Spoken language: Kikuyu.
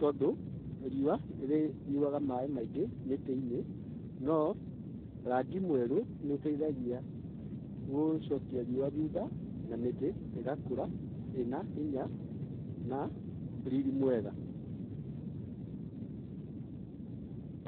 tondũ riũa rĩnyuaga maaĩ maingĩ mĩtĩ-inĩ, no rangi mwerũ nĩ ũteithagia gũcokia riũa thutha na mĩtĩ ĩgakũra ĩna hinya na rĩrĩ mwega.